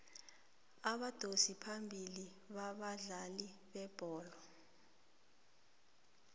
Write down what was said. abadosi phambili babadlali bebholo